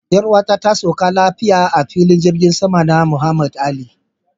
Yar'uwata ta sauka lafiya a filin jirgin sama na Muhammad Ali.